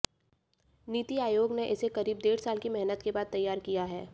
नीति आयोग ने इसे करीब डेढ़ साल की मेहनत के बाद तैयार किया है